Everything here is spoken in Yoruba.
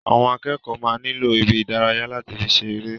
Àwọn akẹ́kọ̀ọ́ máa nilo ibí ìdárayá lati fi ṣeré.